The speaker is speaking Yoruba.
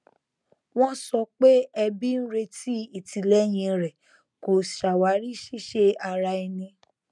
wọn sọ pé ẹbí ń retí ìtìlẹyìn rẹ kó ṣàwárí ṣíṣe ara ẹni